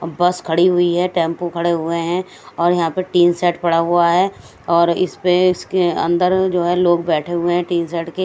बस खड़ी हुई है टेंपो खड़े हुए हैं और यहां पे टीन शेड पड़ा हुआ है और इस पे इसके अंदर जो है लोग बैठे हुए हैं टीन शेड के।